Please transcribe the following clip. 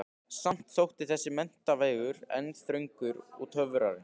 Samt þótti þessi menntavegur enn þröngur og torfarinn.